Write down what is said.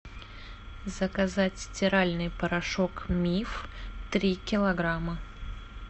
заказать стиральный порошок миф три килограмма